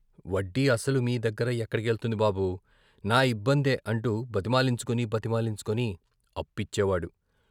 వడ్డీ, అసలు మీ దగ్గర ఎక్కడకెళ్తుంది బాబూ, నా ఇబ్బందే అంటూ బతిమాలించుకుని, బతిమాలించుకుని ఇచ్చేవాడు.